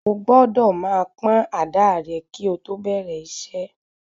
Ó gbọ́dọ̀ máa pọ́n àdáà rẹ kí o tó bẹ̀rẹ̀ iṣẹ́.